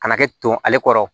Kana kɛ ton ale kɔrɔ